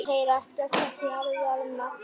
Hún setti í herðarnar.